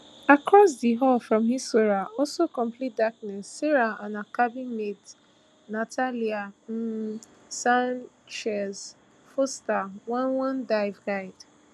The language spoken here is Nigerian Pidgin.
across di hall from hissora also complete darkness sarah and her cabin mate natalia um sanchez fuster one one dive guide